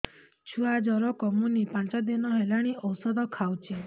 ଛୁଆ ଜର କମୁନି ପାଞ୍ଚ ଦିନ ହେଲାଣି ଔଷଧ ଖାଉଛି